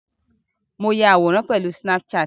Mo ya àwòrán pẹ̀lú snapchat.